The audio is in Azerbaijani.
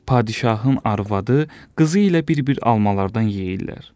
Padşahın arvadı, qızı ilə bir-bir almalardan yeyirlər.